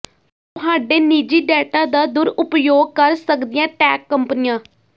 ਤੁਹਾਡੇ ਨਿੱਜੀ ਡੇਟਾ ਦਾ ਦੁਰਉਪਯੋਗ ਕਰ ਸਕਦੀਆਂ ਟੈਕ ਕੰਪਨੀਆਂ